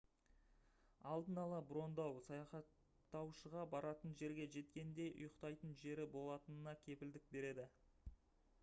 алдын ала броньдау саяхаттаушыға баратын жерге жеткенде ұйықтайтын жері болатынына кепілдік береді